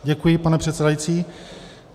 Děkuji, pane předsedající.